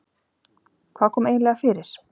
Hvað kom eiginlega fyrir?